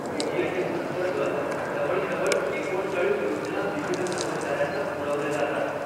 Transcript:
CGHS अंतर्गत जवळजवळ एकोणचाळीस योजना विविध कर्मचाऱ्यांना पुरवल्या जातात.